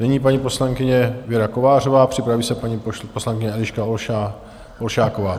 Nyní paní poslankyně Věra Kovářová, připraví se paní poslankyně Eliška Olšáková.